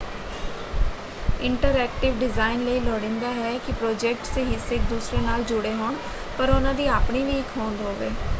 Interactive design ਲਈ ਲੋੜੀਂਦਾ ਹੈ ਕਿ ਪ੍ਰੋਜੈਕਟ ਦੇ ਹਿੱਸੇ ਇੱਕ ਦੂਸਰੇ ਨਾਲ ਜੁੜੇ ਹੋਣ ਪਰ ਉਹਨਾਂ ਦੀ ਆਪਣੀ ਵੀ ਇੱਕ ਹੋਂਦ ਹੋਵੇ।